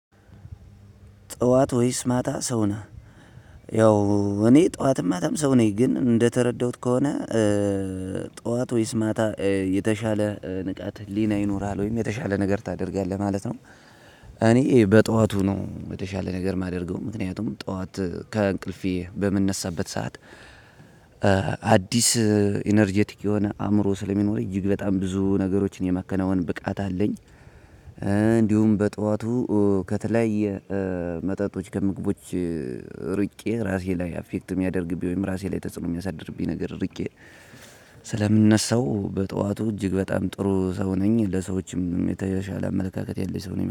ጠዋት ወይስ ማታ ሰው ነህ ያው እኔ ጠዋትም ማታም ሰው ነኝ ግን እንደተረዳሁት ከሆነ ጠዋት ወይስ ማታ የተሻለ ንቃት ህሊና ይኖርሃል ወይም የተሻለ ነገር ታደርጋለህ ማለት ነው። እኔ በጠዋቱ ነው የተሻለ ነገር የማደርገው ምክንያቱም ጠዋት ከእንቅልፌ በምንነሳበት ሰዓት አዲስ ኢነርጀቲክ የሆነ አእምሮ ስለሚኖር እጅግ በጣም ብዙ ነገሮችን የመከናወን ብቃት አለኝ። እንዲሁም በጠዋቱ ከተለያየ መጠጦች ከምግቦች ርቄ ራሴ ላይ አፌክት የሚያደርግብኝ ወይም ራሴ ላይ ተጽዕኖ የሚያሳድርብኝ ነገር ርቄ። ስለምንነሳው በጠዋቱ እጅግ በጣም ጥሩ ሰው ነኝ ለሰዎችም የተሻለ አመለካከት ያለኝ ሰው ነኝ